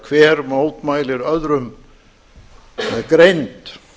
þegar hverr mótmælir öðrum með greind